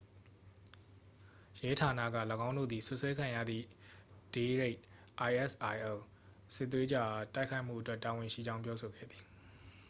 ရဲဌာနက ၎င်းတို့သည် စွပ်စွဲခံရသည့် ဒေးရှိတ် isil စစ်သွေးကြွအား တိုက်ခိုက်မှုအတွက် တာဝန်ရှိကြောင်း ပြောဆိုခဲ့သည်။